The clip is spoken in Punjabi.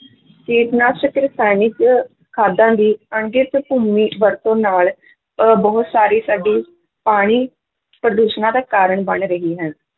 ਕੀਟਨਾਸ਼ਕ ਰਸਾਇਣਿਕ ਖਾਦਾਂ ਦੀ ਭੂਮੀ ਵਰਤੋਂ ਨਾਲ ਅਹ ਬਹੁਤ ਸਾਰੀ ਸਾਡੀ ਪਾਣੀ ਪ੍ਰਦੂਸ਼ਣਾਂ ਦਾ ਕਾਰਨ ਬਣ ਰਹੀ ਹੈ।